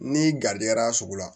Ni garijɛgɛra sugu la